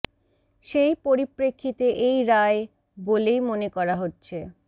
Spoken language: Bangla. সেই পরিপ্রেক্ষিতে এই রায় বলেই মনে করা হচ্ছে